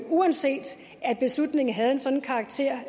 uanset at beslutningen havde en sådan karakter